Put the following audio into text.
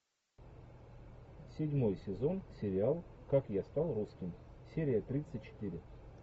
седьмой сезон сериал как я стал русским серия тридцать четыре